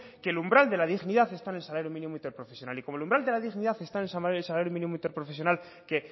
que el umbral de la dignidad está en el salario mínimo interprofesional y como el umbral de la dignidad está en el salario mínimo interprofesional que